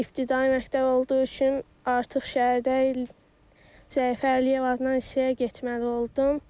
İbtidai məktəb olduğu üçün artıq şəhərdə İl Zəfər Əliyev adına hissəyə getməli oldum.